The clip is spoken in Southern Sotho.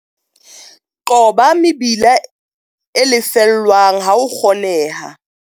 Qoba mebila e lefellwang ha ho kgoneha.